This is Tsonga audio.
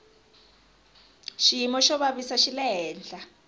xiyimo xo xavisa xi le hehla